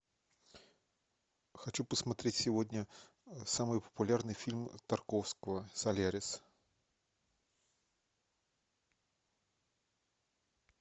хочу посмотреть сегодня самый популярный фильм тарковского солярис